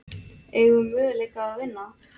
Eigum við möguleika á að vinna?